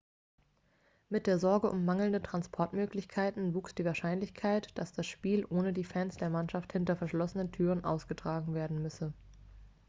mit der sorge um mangelnde transportmöglichkeiten wuchs die wahrscheinlichkeit dass das spiel ohne die fans der mannschaft hinter verschlossenen türen ausgetragen werden müsse